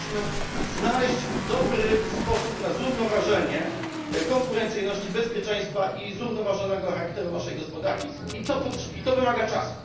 Powinniśmy znaleźć dobry sposób na zrównoważenie konkurencyjności, bezpieczeństwa i zrównoważonego charakteru naszej gospodarki, a to wymaga czasu.